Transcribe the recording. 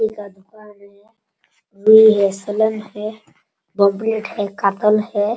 मछली का दुकान है | ये रसलान है बॉमब्लेट है काटल है।